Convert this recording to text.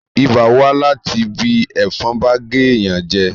ibà wá láti bí ẹ̀fọn bá gé èèyàn jẹ